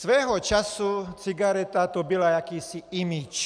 Svého času cigareta, to byl jakýsi image.